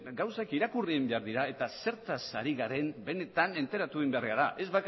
gauzak irakurri egin behar dira eta zertaz ari garen benetan enteratu egin behar gara ez